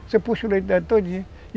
Você puxa o leite dela todinho.